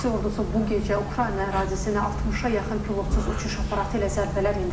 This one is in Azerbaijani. Rusiya ordusu bu gecə Ukrayna ərazisinə 60-a yaxın pilotsuz uçuş aparatı ilə zərbələr endirib.